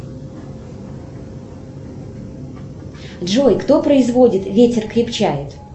джой кто производит ветер крепчает